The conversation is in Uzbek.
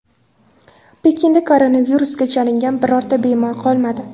Pekinda koronavirusga chalingan birorta bemor qolmadi.